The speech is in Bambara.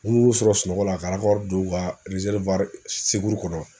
U nun'u sɔrɔ sunɔgɔ la ka don u ka kɔnɔ